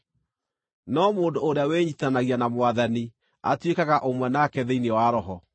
No mũndũ ũrĩa wĩnyiitithanagia na Mwathani atuĩkaga ũmwe nake thĩinĩ wa roho.